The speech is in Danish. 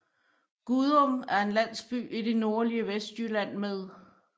Gudum er en landsby i det nordlige Vestjylland med